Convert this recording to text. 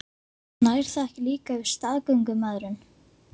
Nær það ekki líka yfir staðgöngumæðrun?